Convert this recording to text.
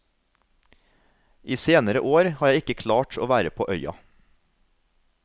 I senere år har jeg ikke klart å være på øya.